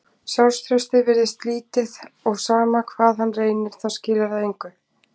Sjálfstraustið virðist lítið og sama hvað hann reynir þá skilar það engu.